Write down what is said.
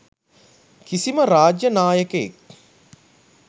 කිසිම රාජ්‍ය නායකයෙක්